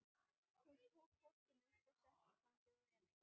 Hún tók hvolpinn upp og setti í fangið á Emil.